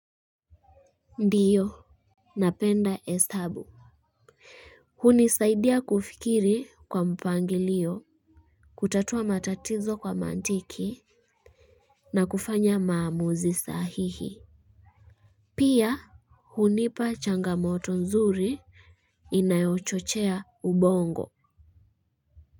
Ndiyo napenda hesabu hunisaidia kufikiri kwa mpangilio. Kutatua matatizo kwa mantiki. Na kufanya maamuzi sahihi. Pia hunipa changamoto nzuri inayochochea ubongo.